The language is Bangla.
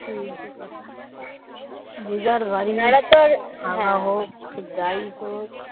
সেই হচ্ছে কথা যে যার বাড়ি হোক ভাঙ্গা হোক যা হোক